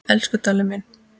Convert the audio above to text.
Elsku Dalli minn.